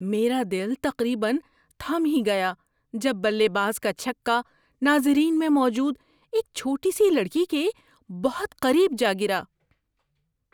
میرا دل تقریبا تھم ہی گیا جب بلے باز کا چھکا ناظرین میں موجود ایک چھوٹی سی لڑکی کے بہت قریب جا گرا۔